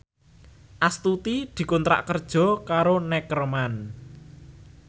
Astuti dikontrak kerja karo Neckerman